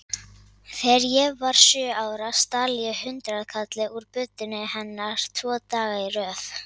Þegar ég var sjö ára stal ég hundraðkalli úr buddunni hennar tvo daga í röð.